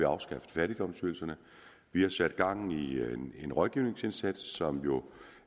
afskaffet fattigdomsydelserne vi har sat gang i en rådgivningsindsats som